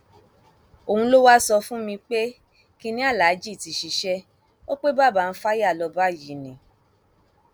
òun ló wáá sọ fún mi pé kinní aláàjì ti ṣiṣẹ o pe bàbá ń fàyà lọ báyìí ni